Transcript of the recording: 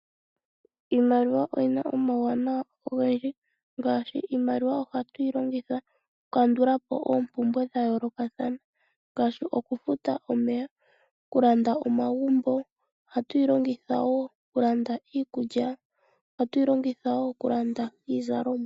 Iimaliwa oyi na omauwanawa ogendji. Ohatu yi longitha okukandulapo oompumbwe dha yoolokathana ngaashi okufuta omeya ,okulanda omagumbo, iikulya nosho woo iizalomwa.